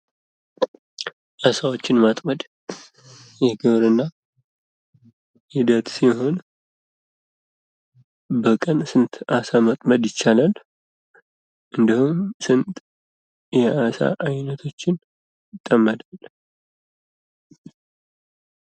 አሳዎችን ማጥመድ የግብርና ሂደት ሲሆን በቀን ስንት አሳ ማጥመድ ይቻላል? እንደዉም ስንት የአሳ አይነቶችን ይጠመዳል?